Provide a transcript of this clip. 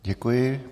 Děkuji.